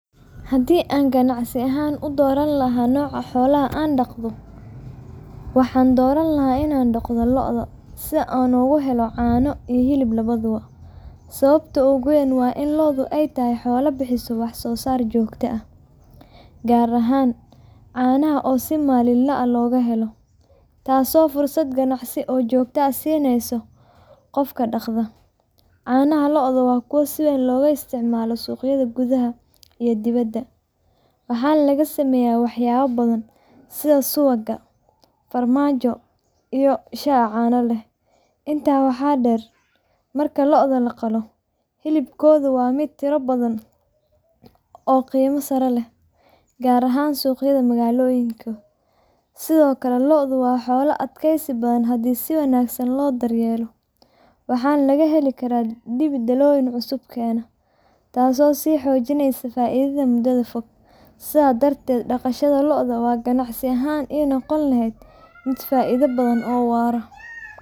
Haddii aan ganacsi ahaan u dooran lahaa nooca xoolo aan dhaqdo, waxaan dooran lahaa inaan dhaqdo lo’da si aan uga helo caano iyo hilib labadaba. Sababta ugu weyn waa in lo’du ay tahay xoolo bixisa wax-soosaar joogto ah, gaar ahaan caanaha oo si maalinle ah loo heli karo, taasoo fursad ganacsi oo joogto ah siinaysa qofka dhaqda. Caanaha lo’da waa kuwo si weyn looga isticmaalo suuqyada gudaha iyo dibaddaba, waxaana laga sameeyaa waxyaabo badan sida subag, farmaajo, iyo shaah caano leh. Intaa waxaa dheer, marka lo’da la qalo, hilibkooda waa mid tiro badan oo qiimo sare leh, gaar ahaan suuqyada magaalooyinka. Sidoo kale, lo’da waa xoolo adkaysi badan haddii si wanaagsan loo daryeelo, waxaana laga heli karaa dibi dhalooyin cusub keena, taasoo sii xoojinaysa faa’iidada muddada fog. Sidaas darteed, dhaqashada lo’da waxay ganacsi ahaan ii noqon lahayd mid faa’iido badan oo waara.